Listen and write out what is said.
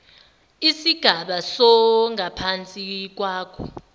isigaba songaphansi kwakho